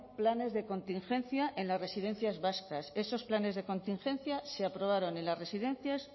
planes de contingencia en las residencias vascas esos planes de contingencia se aprobaron en las residencias